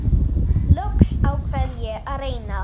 Loks ákvað ég að reyna.